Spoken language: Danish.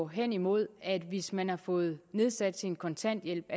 hen imod at hvis man har fået nedsat sin kontanthjælp